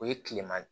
O ye tilema de